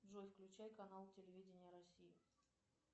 джой включай канал телевидение россии